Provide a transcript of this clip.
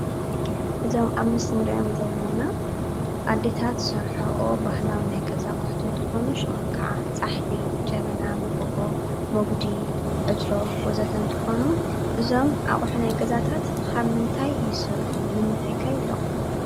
እዞም ኣብ ምስሊ እንሪኦም ዘለና ኣዴታት ዝሰርሕኦ ባህላዊ ናይ ገዛ ኣቑሑት እንትኾኑ ሽሞም ከዓ ፃሕሊ፣ ጀበና፣ ሞጎጎ፣ ሞጉዲ፣ ዕትሮ ወዘተ እንትኾኑ እዞም ኣቁሑ ናይ ገዛታት ካብ ምንታይ ይስርሑ ንምንታይ ከ ይጠቅሙና?